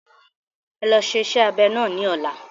E lọ ṣe iṣẹ́ abẹ náà ní ọ̀la.